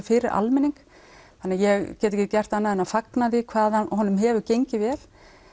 fyrir almenning þannig ég get ekki gert annað en að fagna því hvað honum hefur gengið vel